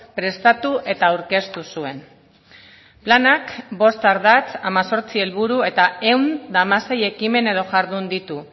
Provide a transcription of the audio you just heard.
prestatu eta aurkeztu zuen planak bost ardatz hemezortzi helburu eta ehun eta hamasei ekimen edo jardun ditu